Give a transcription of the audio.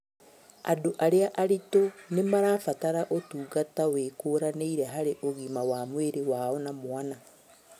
Andũ arĩa aritũ nĩmarabatara ũtungata wĩkũranĩire harĩ ũgima wa mwĩrĩ wao na mwana